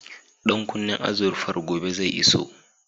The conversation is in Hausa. Ɗan kunnen azurfar gobe zai iso